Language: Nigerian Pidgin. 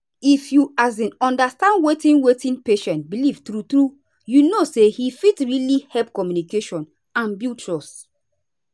if you um understand wetin wetin patient believe true true you know say he fit really help communication and build trust.